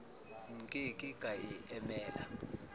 nke ke ka e emela